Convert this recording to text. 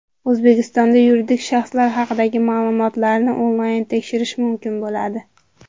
O‘zbekistonda yuridik shaxslar haqidagi ma’lumotlarni onlayn tekshirish mumkin bo‘ladi.